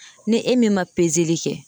Ni e min ma kɛ